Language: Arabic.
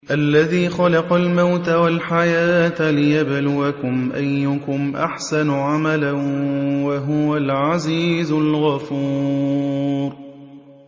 الَّذِي خَلَقَ الْمَوْتَ وَالْحَيَاةَ لِيَبْلُوَكُمْ أَيُّكُمْ أَحْسَنُ عَمَلًا ۚ وَهُوَ الْعَزِيزُ الْغَفُورُ